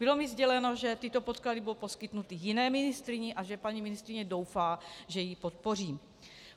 Bylo mi sděleno, že tyto podklady budou poskytnuty jiné ministryni a že paní ministryně doufá, že ji podpořím.